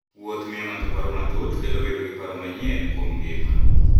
Wuoth miyo ng'ato paro matut, kendo miyo obedo gi paro manyien kuom ngima.